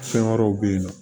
Fɛn wɛrɛw bɛ ye nɔ